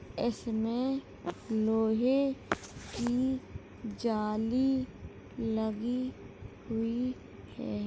इसमें लोहे की जाली लगी हुई है।